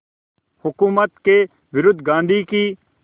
हुकूमत के विरुद्ध गांधी की